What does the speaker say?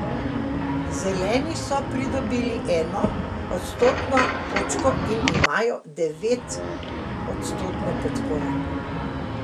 Zeleni so pridobili eno odstotno točko in imajo devetodstotno podporo.